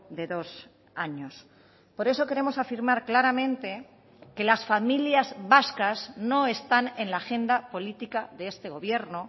de dos años por eso queremos afirmar claramente que las familias vascas no están en la agenda política de este gobierno